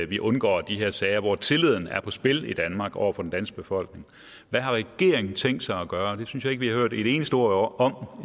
vi undgår de her sager hvor tilliden er på spil i danmark over for den danske befolkning hvad har regeringen tænkt sig at gøre det synes jeg ikke vi har hørt et eneste ord om